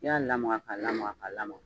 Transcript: N'i y'a lamaga ka lamaga ka lamaga.